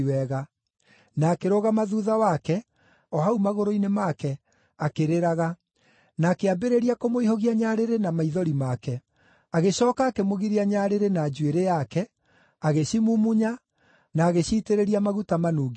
na akĩrũgama thuutha wake, o hau magũrũ-inĩ make, akĩrĩraga, na akĩambĩrĩria kũmũihũgia nyarĩrĩ na maithori make. Agĩcooka akĩmũgiria nyarĩrĩ na njuĩrĩ yake, agĩcimumunya, na agĩciitĩrĩria maguta manungi wega.